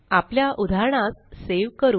आपल्या उदाहरणास सेव करू